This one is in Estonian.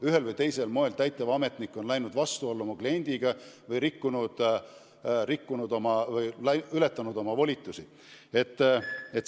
Ühel või teisel moel oli täitevametnik läinud vastuollu oma kliendiga või ületanud oma volitusi.